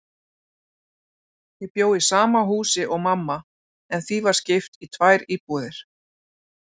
Ég bjó í sama húsi og mamma, en því var skipt í tvær íbúðir.